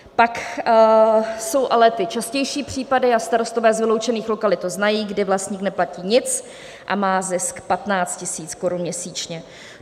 Pak jsou ale ty častější případy, a starostové z vyloučených lokalit to znají, kdy vlastník neplatí nic a má zisk 15 000 korun měsíčně.